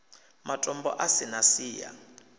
matombo a si na siya